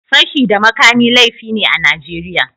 Fashi da makami laifi ne a Najeriya.